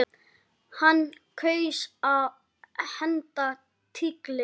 Hann kaus að henda tígli.